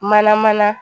Mana mana